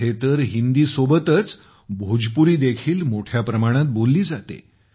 इथे तर हिंदीसोबतच भोजपुरी देखील मोठ्या प्रमाणात बोलली जाते